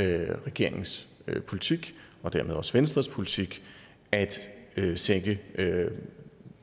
er regeringens politik og dermed også venstres politik at sænke